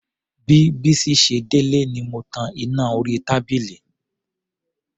Bí Bísí ṣe délé ni mo tan iná orí tábìlì.